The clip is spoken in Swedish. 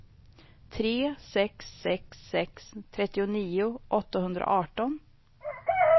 tre sex sex sex trettionio åttahundraarton